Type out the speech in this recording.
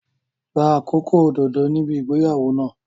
Gba àkókò òdodo níbi ìgbéyàwó náà.